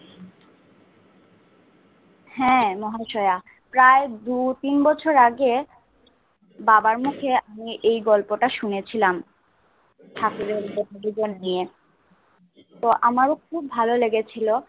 হ্যা মহাশয়া প্রায় দুই তিন বছর আগে বাবার মুখে আমি এই গল্পটাশুনে ছিলাম ঠাকুরের জীবন নিয়ে তো আমার খুব লেগেছিল